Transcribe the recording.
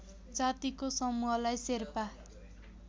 जातिको समूहलाई शेर्पा